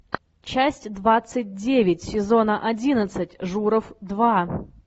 часть двадцать девять сезона одиннадцать журов два